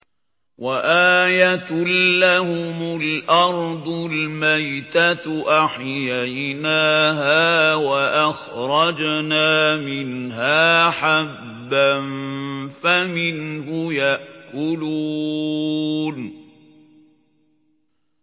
وَآيَةٌ لَّهُمُ الْأَرْضُ الْمَيْتَةُ أَحْيَيْنَاهَا وَأَخْرَجْنَا مِنْهَا حَبًّا فَمِنْهُ يَأْكُلُونَ